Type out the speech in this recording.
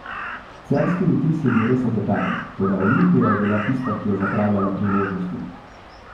Celjski vtis je bil res obetaven, toda Olimpija je bila tista, ki je zapravljala priložnosti.